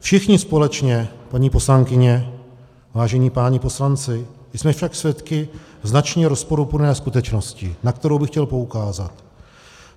Všichni společně, paní poslankyně, vážení páni poslanci, jsme však svědky značně rozporuplné skutečnosti, na kterou bych chtěl poukázat.